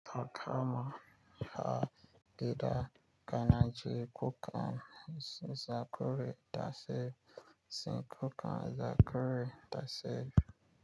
Haka ma a gida kanaji kukan zakara tashi tsinkukan zakure tashe.